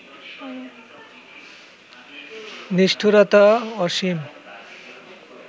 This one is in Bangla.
নিষ্ঠুরতা অসীম